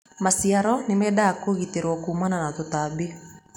maciaro nĩ mendaga kũgitĩrwo kumana na tũtabi